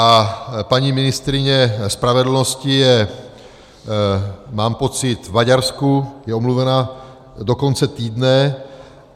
A paní ministryně spravedlnosti je, mám pocit, v Maďarsku, je omluvena do konce týdne.